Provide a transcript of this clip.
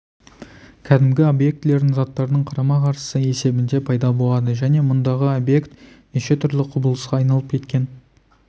кәдімгі объектілердің заттардың қарама-қарсысы есебінде пайда болады және мұндағы объект неше түрлі құбылысқа айналып кеткен